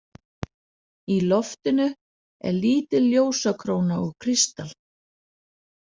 Í loftinu er lítil ljósakróna úr kristal.